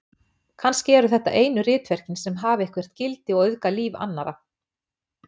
Kannski eru þetta einu ritverkin sem hafa eitthvert gildi og auðga líf annarra.